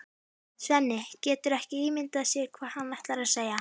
Svenni getur ekki ímyndað sér hvað hann ætlar að segja.